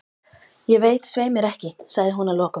Ég veit svei mér ekki, sagði hún að lokum.